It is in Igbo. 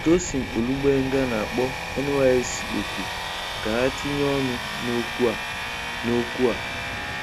Tosin Olugbenga na-akpọ NYSC oku ka ha tinye ọnụ n'okwu a. n'okwu a.